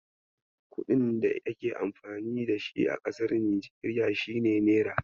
Kuɗin da ake amfani da shi a kasar Nijeriya shine Naira.